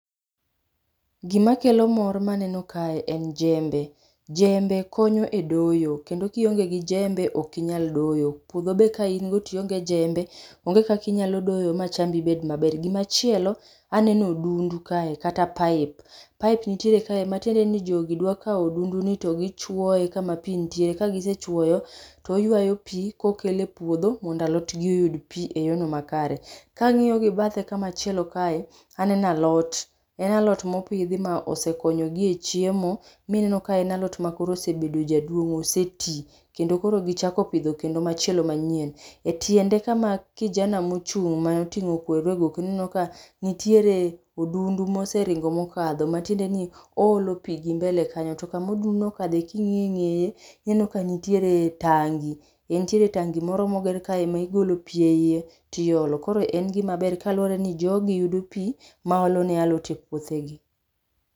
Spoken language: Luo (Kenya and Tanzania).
Gima kelo mor maneno kae en jembe. Jembe konyo e doyo kendo kionge gi jembe ok inyal doyo, puodho be ka in go tionge jembe okinyal doyo ma chambi bed maber. Gimachielo aneno odundu kae kata pipe, pipe nitiere kae matiende ni jogi dwa kao odundu ni togi chuoye kama pii nitie, ka gisechuoyo toywayo pii kokele epuodho mondo alot gi oyud pii e yono makare. Kang'iyo gi bathe kamachielo kae, aneno alot, en alot mopidho mosekonyogi e chiem mineno en alot mosebedo jaduong osetii kendo koro gichako pidho kendo machielo manyien. E tiende kama kijana mochung motingo kweru e goke ineno ka nitiere odundu moseringo mokadho matiende ni oolo pii gi mbele kanyo. To kama odundu no okadho kingiyo e ngeye ineno ka nitiere tangi, nitiere tangi moro moger kae ma igolo pii eiye tiolo koro en gima ber kaluore ni jogi yudo pii maolo ne alot e puothegi